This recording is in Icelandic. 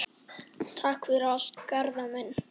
Takk fyrir allt, Garðar minn.